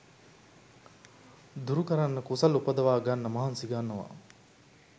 දුරුකරන්න කුසල් උපදවා ගන්න මහන්සි ගන්නවා